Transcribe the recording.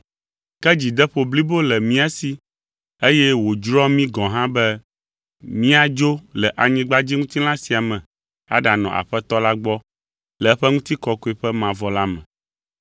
Ke dzideƒo blibo le mía si, eye wòdzroa mí gɔ̃ hã be míadzo le anyigbadziŋutilã sia me aɖanɔ Aƒetɔ la gbɔ le eƒe ŋutikɔkɔe ƒe mavɔ la me.